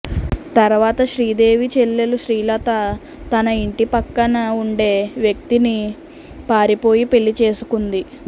తర్వాత శ్రీదేవి చెల్లెలు శ్రీలత తన ఇంటి పక్కన ఉండే వ్యక్తిని పారిపోయి పెళ్లి చేసుకుంది